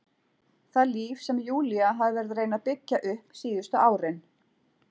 Það líf sem Júlía hafði verið að reyna að byggja upp síðustu árin.